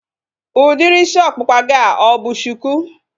Udiri isi ọkpụkpa gị a ọ bụ shuku?